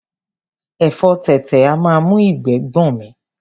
Ẹ̀fọ tètè a máa mú ìgbẹ́ gbọ̀n mí.